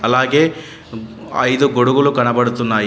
అలాగే ఐదు గొడుగులు కనబడుతున్నాయి.